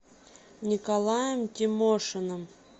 николаем тимошиным